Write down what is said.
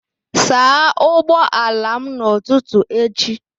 Saa ụgbọala m n'ụtụtụ echi!